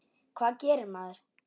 Hvað gerir maður?